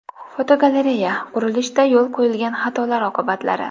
Fotogalereya: Qurilishda yo‘l qo‘yilgan xatolar oqibatlari.